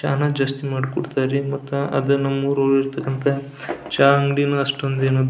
ಚಾ ನು ಜಾಸ್ಟ್ ಮಾಡ್ ಕೊಡ್ತರ್ ರೀ ಮತ್ ಅದ್ ನಮ್ ಊರಲ್ಲಿ ಇರತಕ್ಕಂಥ ಚಾ ಅಂಗಡಿನೂ ಅಷ್ಟೊಂದ್ ಏನು --